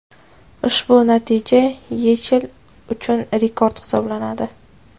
Ushbu natija YeChL uchun rekord hisoblanadi.